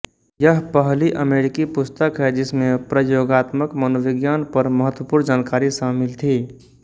यह पहली अमेरिकी पुस्तक है जिसमें प्रयोगात्मक मनोविज्ञान पर महत्वपूर्ण जानकारी शामिल थी